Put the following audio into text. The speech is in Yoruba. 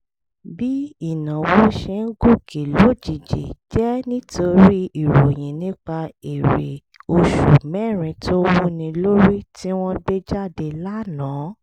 bí ìnáwó ṣe ń gòkè lójijì jẹ́ nítorí ìròyìn nípa èrè oṣù mẹ́rin tó wúni lórí tí wọ́n gbé jáde lánàá